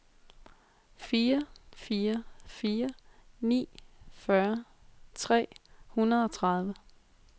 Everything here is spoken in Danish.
fire fire fire ni fyrre tre hundrede og tredive